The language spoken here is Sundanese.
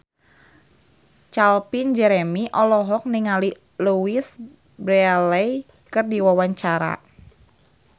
Calvin Jeremy olohok ningali Louise Brealey keur diwawancara